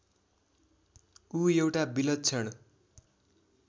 ऊ एउटा विलक्षण